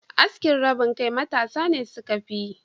Askin rabin kai matasa ne suka fiyi.